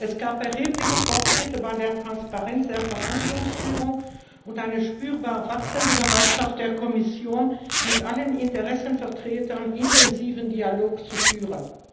Es gab erhebliche Fortschritte bei der Transparenz der Verhandlungsführung und eine spürbar wachsende Bereitschaft der Kommission, mit allen Interessenvertretern intensiven Dialog zu führen.